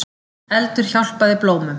Eldur hjálpaði blómum